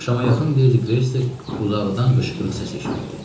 Axşama yaxın Ledi Qreystik uzaqdan qışqırıq səsi eşitdi.